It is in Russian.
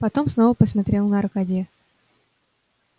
потом снова посмотрел на аркадия